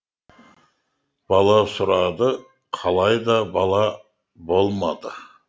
бала сұрады қалайда бала болмады